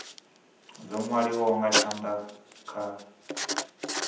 dzo nwaliwaho nga tshanda kha